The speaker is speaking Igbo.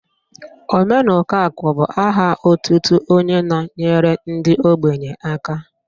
Omenukoakụ bụ aha otutu onye na-nyere ndị ogbenye aka